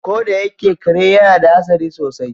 Ko da yake kare yana da hadari sosai.